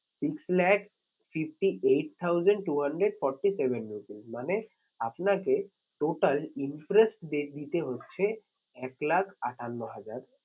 Six lakh fifty eight thousand two hundred forty seven rupees মানে আপনাকে total interest rate দিতে হচ্ছে এক লাখ আটান্ন হাজার।